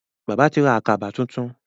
Bàbá tí ra Àkàbà títún.